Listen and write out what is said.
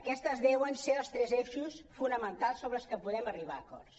aquests han de ser els tres eixos fonamentals sobre els que podem arribar a acords